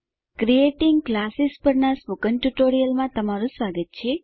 creating classes પરનાં spoken ટ્યુટોરીયલમાં સ્વાગત છે